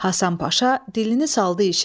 Həsən Paşa dilini saldı işə.